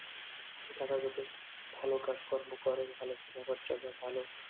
তারা ওদের ভালো কাজকর্ম করেন ভালো কথাবার্তা বা ভালো